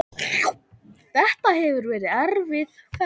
Þetta hefur verið erfið ferð.